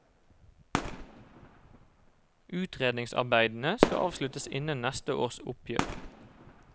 Utredningsarbeidene skal avsluttes innen neste års oppgjør.